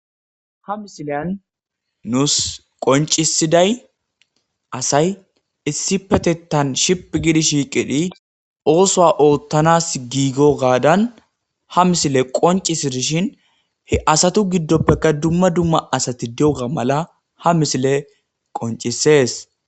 Ha missilay nussi qonccissiday asay issippetetan shiphphi gii shiqqidi osso oottanas giigo gaadan ha missiley qonccisidishin he assatu giiddoppe dumma dumma asati diyogga maala ha missiley qonccises.